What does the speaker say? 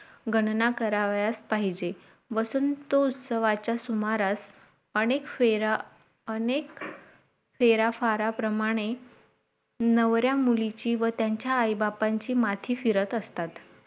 गणणा करावयास पाहिजे वसंत उत्सवाच्या सुमारात अनेक फेरा अनेक फेराफारा प्रमाणे नवऱ्या मुलीची व त्यांच्या आई बाबांची माथी फिरत असतात